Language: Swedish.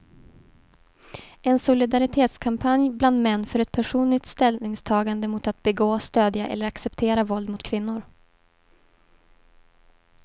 En solidaritetskampanj bland män för ett personligt ställningstagande mot att begå, stödja eller acceptera våld mot kvinnor.